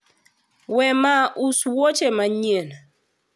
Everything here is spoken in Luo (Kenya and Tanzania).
wema uso wuoch manyien